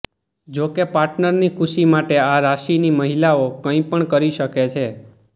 જોકે પાર્ટનરની ખુશી માટે આ રાશિની મહિલાઓ કંઈ પણ કરી શકે છે